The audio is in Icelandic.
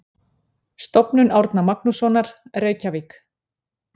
Stofnun Árna Magnússonar, Reykjavík.